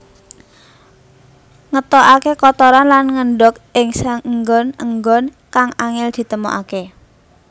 Ngetokaké kotoran lan ngendhog ing saenggon enggon kang angél ditemokaké